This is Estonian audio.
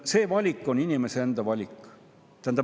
See valik on inimese enda valik.